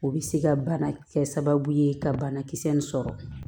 O bɛ se ka bana kɛ sababu ye ka banakisɛ in sɔrɔ